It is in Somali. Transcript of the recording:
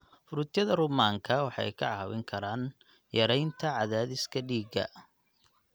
Fruityada rummaanka waxay ka caawin karaan yareynta cadaadiska dhiigga.